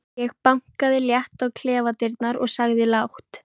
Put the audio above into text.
Ég bankaði létt á klefadyrnar og sagði lágt